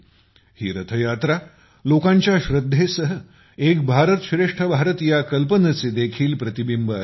ही रथयात्रा लोकांच्या श्रद्धेसह एक भारतश्रेष्ठ भारत कल्पनेचे देखील प्रतिबिंब असते